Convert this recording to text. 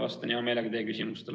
Vastan hea meelega teie küsimustele.